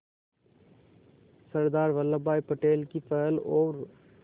सरदार वल्लभ भाई पटेल की पहल और